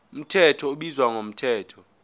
mthetho ubizwa ngomthetho